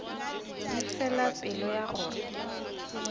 di fela pelo ya gore